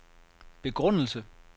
begrundelse